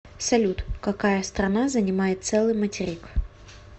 салют какая страна занимает целый материк